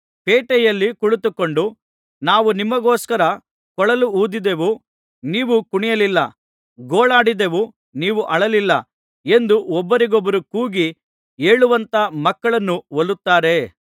ಪೇಟೆಯಲ್ಲಿ ಕುಳಿತುಕೊಂಡು ನಾವು ನಿಮಗೋಸ್ಕರ ಕೊಳಲೂದಿದೆವು ನೀವು ಕುಣಿಯಲಿಲ್ಲ ಗೋಳಾಡಿದೆವು ನೀವು ಅಳಲಿಲ್ಲ ಎಂದು ಒಬ್ಬರಿಗೊಬ್ಬರು ಕೂಗಿ ಹೇಳುವಂಥ ಮಕ್ಕಳನ್ನು ಹೋಲುತ್ತಾರೆ